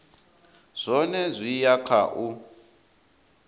zwone zwi ya kha u